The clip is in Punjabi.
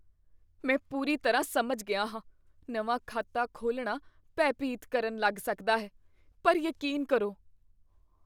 ਮੈਂ ਪੂਰੀ ਤਰ੍ਹਾਂ ਸਮਝ ਗਿਆ ਹਾਂ ਨਵਾਂ ਖਾਤਾ ਖੋਲ੍ਹਣਾ ਭੈ ਭੀਤ ਕਰਨ ਲੱਗ ਸਕਦਾ ਹੈ, ਪਰ ਯਕੀਨ ਕਰੋ,